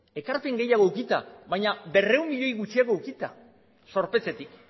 ekarpen gehiago edukita baina berrehun milioi gutxiago edukita zorpetzetik